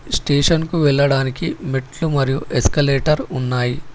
స్టేషన్కు వెళ్లడానికి మెట్లు మరియు ఎస్కలేటర్ ఉన్నాయి